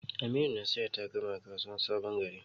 Aminu na sayar da takalma a kasuwan sabon gari.